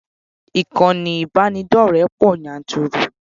Ìkànnì ìbánidọ́rẹ̀ẹ́ pọ̀ yanturu.